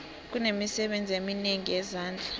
kunemisebenzi eminengi yezandla